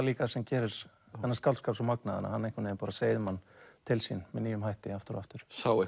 líka sem gerir þennan skáldskap svo magnaðan að hann einhvern veginn bara seiðir mann til sín með nýjum hætti aftur og aftur sá